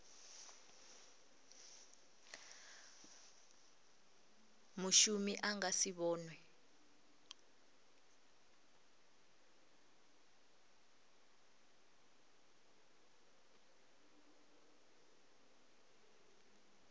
mushumi a nga si vhonwe